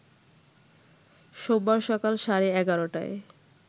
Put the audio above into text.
সোমবার সকাল সাড়ে ১১ টায়